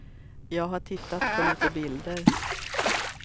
Jag har tittat på lite bilder.